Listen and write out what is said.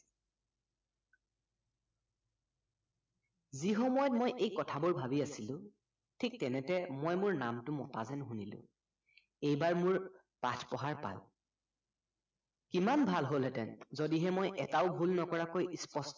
যি সময়ত মই এই কথাবোৰ ভাবি আছিলো থিক তেনেতে মই মোৰ নামতো মতা যেন শুনিলো এইবাৰ মোৰ পাঠ পঢ়াৰ পাল কিমান ভাল হলহেতেন যদিহে মই এতাও ভুল নকৰাকৈ